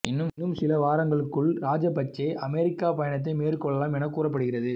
இன்னும் சில வாரங்களுக்குள் ராஜபச்சே அமெரிக்க பயணத்தை மேற்கொள்ளலாம் என கூறப்படுகிறது